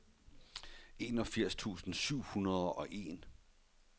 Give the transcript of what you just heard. enogfirs tusind syv hundrede og en